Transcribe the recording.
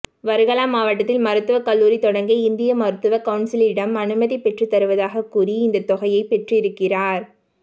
வர்கலா மாவட்டத்தில் மருத்துவ கல்லூரி தொடங்க இந்திய மருத்துவ கவுனிசிலிடம் அனுமதி பெற்றுத் தருவதாக கூறி இந்த தொகையை பெற்றிருக்கிறார்